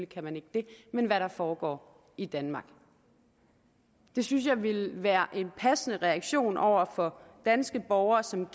kan man ikke det men hvad der foregår i danmark det synes jeg ville være en passende reaktion over for danske borgere som